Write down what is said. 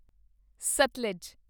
Sutlej